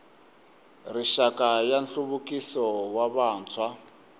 rixaka ya nhluvukiso wa vantshwa